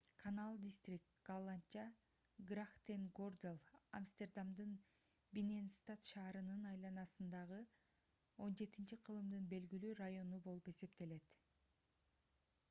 канал дистрикт голландча: грахтенгордель амстердамдын бинненстад шаарынын айланасындагы 17-кылымдын белгилүү району болуп эсептелет